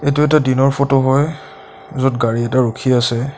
এইটো এটা দিনৰ ফটো হয় য'ত গাড়ী এটা ৰখি আছে।